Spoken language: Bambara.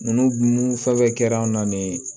Ninnu fɛn fɛn kɛra an na nin